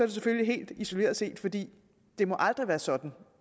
det selvfølgelig helt isoleret set fordi det aldrig må være sådan